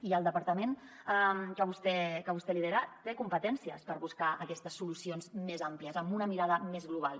i el departament que vostè lidera té competències per buscar aquestes solucions més àmplies amb una mirada més global